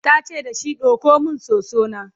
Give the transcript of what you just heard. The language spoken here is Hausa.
tace dashi "ɗauko min soso na!"